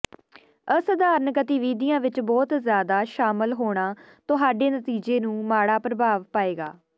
ਅਸਧਾਰਨ ਗਤੀਵਿਧੀਆਂ ਵਿੱਚ ਬਹੁਤ ਜ਼ਿਆਦਾ ਸ਼ਾਮਲ ਹੋਣਾ ਤੁਹਾਡੇ ਨਤੀਜੇ ਨੂੰ ਮਾੜਾ ਪ੍ਰਭਾਵ ਪਾਏਗਾ